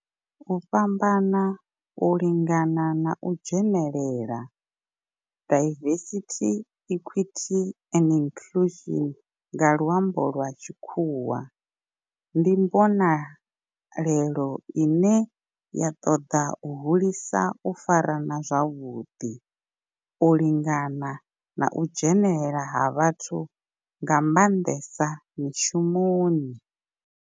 U fhambana, u lingana na u dzhenelela diversity, equity and inclusion nga lwambo lwa tshikhuwa ndi mbonelelo ine ya ṱoḓa u hulisa u farana zwavhuḓi, u lingana na u dzhenelela ha vhathu nga manḓesa mishumoni.